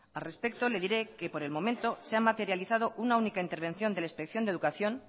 al respecto le diré que por el momento se ha materializado una única intervención de la inspección de educación